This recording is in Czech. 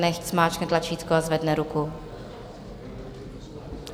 Nechť zmáčkne tlačítko a zvedne ruku.